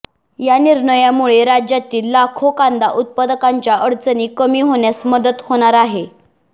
यानिर्णयामुळे राज्यातील लाखो कांदा उत्पादकांच्या अडचणी कमी होण्यास मदत होणार आहे